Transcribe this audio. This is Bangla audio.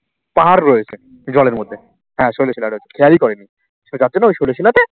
পাহাড় রয়েছে জলের মধ্যে হ্যাঁ শৈল শিলা রয়েছে খেয়ালই করেনি। সে যাচ্ছিল ওই শৈল শিলাতে